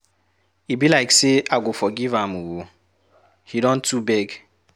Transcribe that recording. E be like say I go forgive am ooo, he don too beg.